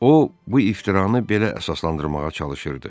O, bu iftiranı belə əsaslandırmağa çalışırdı.